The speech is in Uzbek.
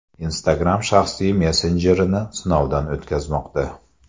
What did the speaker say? Instagram shaxsiy messenjerini sinovdan o‘tkazmoqda.